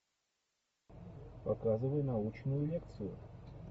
показывай научную лекцию